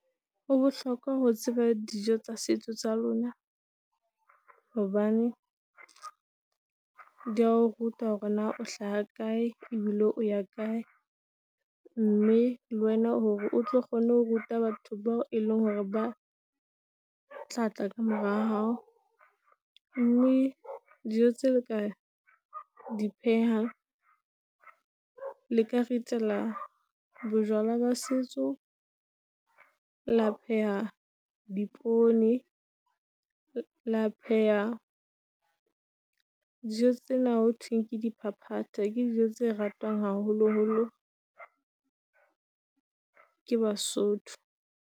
Ho bohlokwa ho tseba dijo tsa setso tsa lona, hobane di ya ho ruta hore na o hlaha kae ebile o ya kae. Mme le wena hore o tlo kgone ho ruta batho bao eleng hore ba, tla tla ka mora hao. Mme dijo tse le ka, di phehang, le ka ritela bojwala ba setso. La pheha dipoone, la pheha dijo tsena ho thweng ke di phaphatha ke dijo tse ratwang haholoholo ke basotho.